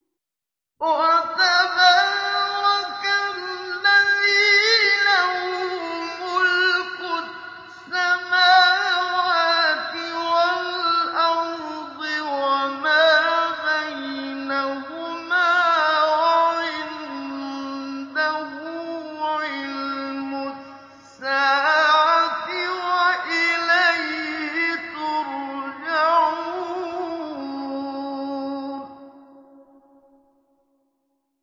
وَتَبَارَكَ الَّذِي لَهُ مُلْكُ السَّمَاوَاتِ وَالْأَرْضِ وَمَا بَيْنَهُمَا وَعِندَهُ عِلْمُ السَّاعَةِ وَإِلَيْهِ تُرْجَعُونَ